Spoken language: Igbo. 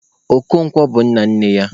Okonkwo bụ nna nne ya.